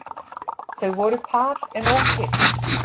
Þau voru par en ógift